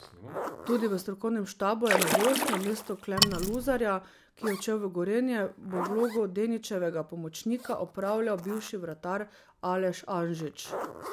Tudi v strokovnem štabu je novost, namesto Klemna Luzarja, ki je odšel v Gorenje, bo vlogo Deničevega pomočnika opravljal bivši vratar Aleš Anžič.